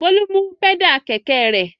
Bólú mú pẹ́dà kẹ̀kẹ́ rẹ̀.